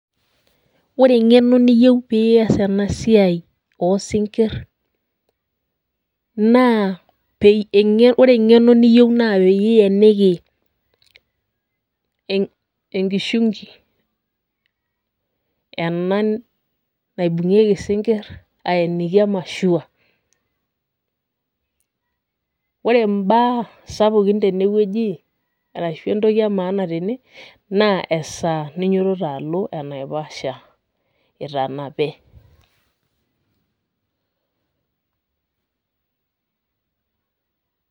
Ore eng'eno niyieu pias enasiai osinkir, naa ore eng'eno niyieu naa pieniki enkishunki ena naibung'ieki isinkirr, ainiki e mashua. Ore mbaa sapukin tenewueji arashu entoki emaana tene, naa esaa ninyototo alo enaiposha itanape.